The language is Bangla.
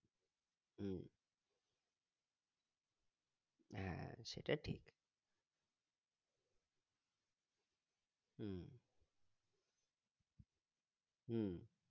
হম হ্যাঁ সেটা ঠিক হম হম